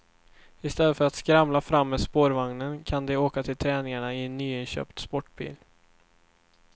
Istället för att skramla fram med spårvagnen kan de åka till träningarna i nyinköpt sportbil.